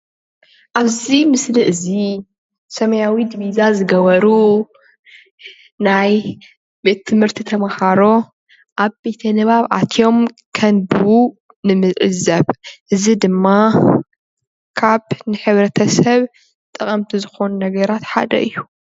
ኣብዚ ምስሊ እዚ ሰማያዊ ድቢዛ ዝገብሩ ናይ ቤት ትምህርቲ ተምሃሮ ኣብ ቤተ ንባብ ኣትዮም ከንብቡ ንምዕዘብ እዚ ድማ ካብ ንሕብረተሰብ ጠቐምቲ ዝኾኑ ነገራት ሓደ እዩ።